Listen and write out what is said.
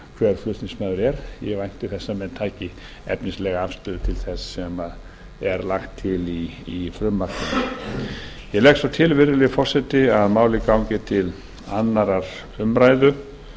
hver flutningsmaður er ég vænti þess að menn taki efnislega afstöðu til þess sem er lagt til í frumvarpinu ég legg svo til virðulegi forseti að málið gangi til annarrar umræðu